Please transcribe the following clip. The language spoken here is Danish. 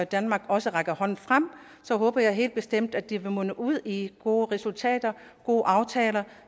danmark også rækker hånden frem til så håber jeg helt bestemt at det vil munde ud i gode resultater gode aftaler